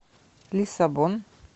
лиссабон